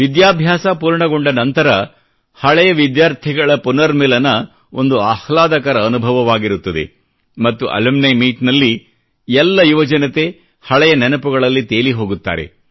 ವಿದ್ಯಾಭ್ಯಾಸ ಪೂರ್ಣಗೊಂಡ ನಂತರ ಹಳೆಯ ವಿದ್ಯಾರ್ಥಿಗಳ ಪುನರ್ಮಿಲನ ಅಲುಮ್ನಿ ಮೀಟ್ ಒಂದು ಆಹ್ಲಾದಕರ ಅನುಭವವಾಗಿರುತ್ತದೆ ಮತ್ತು ಹಳೆಯ ವಿದ್ಯಾರ್ಥಿಗಳ ಪುನರ್ಮಿಲನದಲ್ಲಿ ಎಲ್ಲ ಯುವಜನತೆ ಹಳೆಯ ನೆನಪುಗಳಲ್ಲಿ ತೇಲಿಹೋಗುತ್ತಾರೆ